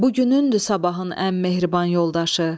Bu günündür sabahın ən mehriban yoldaşı.